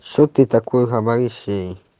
что ты такое говоришь ей